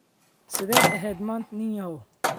Sideed eheed maanta nin yahow?